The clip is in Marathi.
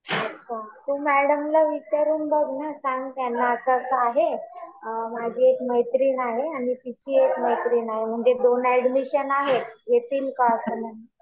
अच्छा. तू मॅडम ला विचारून बघ ना. सांग त्यांना असं असं आहे. अ माझी एक मैत्रीण आहे आणि तिची एक मैत्रीण आहे. म्हणजे दोन ऍडमिशन आहेत. घेतील का?